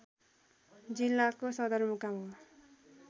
जिल्लाको सदरमुकाम हो